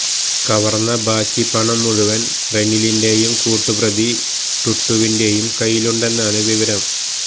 കവര്ന്ന ബാക്കി പണം മുഴുവന് റെനിലിന്റെയും കൂട്ടുപ്രതി ടുട്ടുവിന്റെയും കയ്യിലുണ്ടെന്നാണ് വിവരം